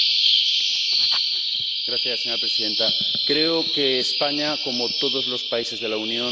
Señora Presidenta, creo que España, como todos los países de la Unión, tiene que cumplir sus compromisos.